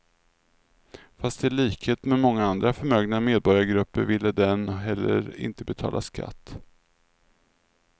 Fast i likhet med många andra förmögna medborgargrupper ville den heller inte betala skatt.